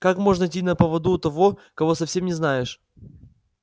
как можно идти на поводу у того кого совсем не знаешь